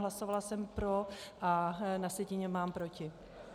Hlasovala jsem pro a na sjetině mám proti.